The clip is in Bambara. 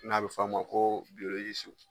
N'a bi fɔ a ma ko biyololisiw